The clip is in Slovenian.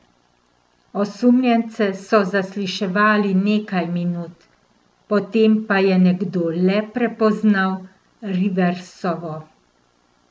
Osumljence so zasliševali nekaj minut, potem pa je nekdo le prepoznal Riversovo.